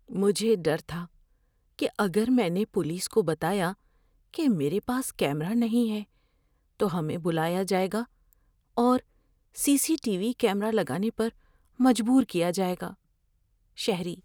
مجھے ڈر تھا کہ اگر میں نے پولیس کو بتایا کہ میرے پاس کیمرا نہیں ہے تو ہمیں بلایا جائے گا اور C C T V camera لگانے پر مجبور کیا جائے گا۔ (شہری)